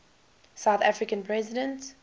south african president